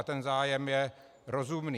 A ten zájem je rozumný.